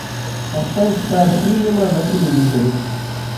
поставь стар синема на телевизоре